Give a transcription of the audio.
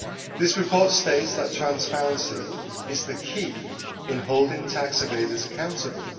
This report states that transparency is the key in holding tax evaders accountable.